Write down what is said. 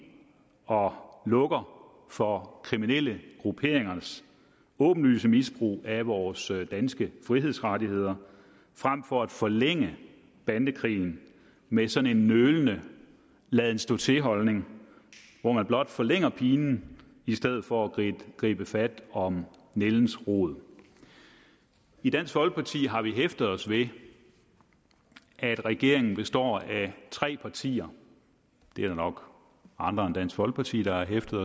og lukker for kriminelle grupperingers åbenlyse misbrug af vores danske frihedsrettigheder frem for at forlænge bandekrigen med sådan en nølende laden stå til holdning hvor man blot forlænger pinen i stedet for at gribe fat om nældens rod i dansk folkeparti har vi hæftet os ved at regeringen består af tre partier der er nok andre end dansk folkeparti der har hæftet